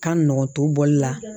Ka nɔgɔn to bɔli la